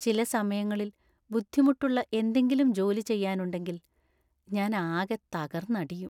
ചില സമയങ്ങളിൽ ബുദ്ധിമുട്ടുള്ള എന്തെങ്കിലും ജോലി ചെയ്യാനുണ്ടെങ്കില്‍ ഞാൻ ആകെ തകർന്നടിയും.